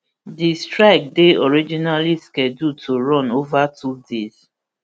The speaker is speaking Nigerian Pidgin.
di strike dey originally scheduled to run ova two days